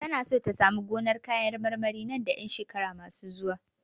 Tana so ta samu gonar kayan marmari nan da ƴan shekaru masu zuwa.